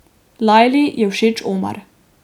Lajli je všeč Omar.